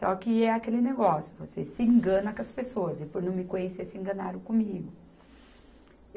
Só que é aquele negócio, você se engana com as pessoas e por não me conhecer se enganaram comigo.